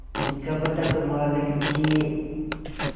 जब तक मालिक जिये